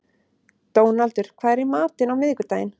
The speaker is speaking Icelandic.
Dónaldur, hvað er í matinn á miðvikudaginn?